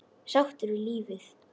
Sáttur við lífið.